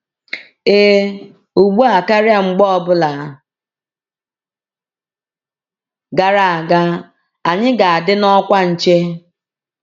“Ee, ugbu a karịa mgbe ọ bụla gara aga, anyị ga-adị n’ọkwa nche!”